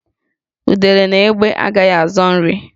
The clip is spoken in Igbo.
Udele na egbé agaghị azọ nri